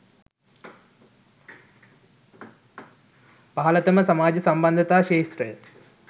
පහළතම සමාජ සම්බන්ධතා ක්ෂේත්‍රය